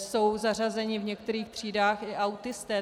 Jsou zařazeni v některých třídách i autisté.